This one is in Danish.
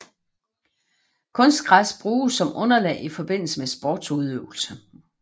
Kunstgræs bruges som underlag i forbindelse med sportudøvelse